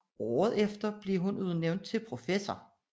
Året efter blev hun udnævnt til professor